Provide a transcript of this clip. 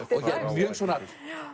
mjög svona